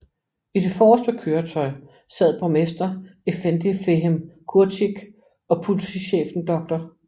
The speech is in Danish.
I det forreste køretøj sad borgmester effendi Fehim Čurčić og politichefen dr